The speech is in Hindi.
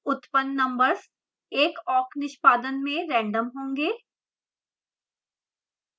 उत्पन्न numbers एक awk निष्पादन में random होंगे